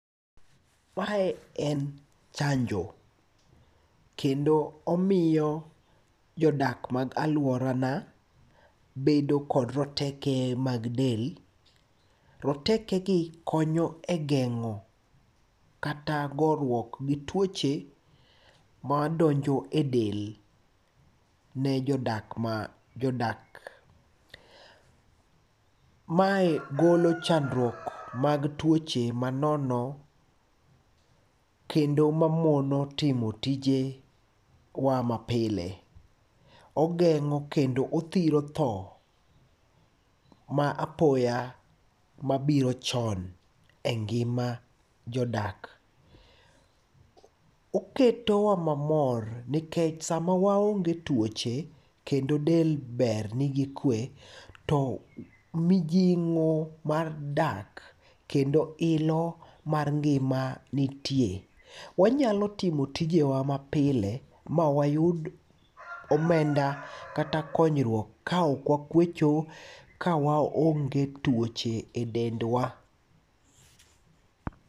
Mae en chanjo kendo omiyo jodak mag aluorana bedo kod roteke mag del. Rotekegi konyo e geng'o kata goruok gi tuoche madonjo e del ne jodakma, jodak. Mae golo chandruok mag tuoche manono kendo mamono timo tije wa mapile. Ogeng'o kendo othiro tho ma apoya mabiro chon e ngima jodak. Oketowa mamor nekech sama waonge tuoche kendo del ber nigi kue to mijing'o mar dak kendo ilo mar ngima nitie. Wanyalo timo tijewa mapile ma wayud omenda kata konyruok ka okwakuecho kawaonge tuoche e dendwa.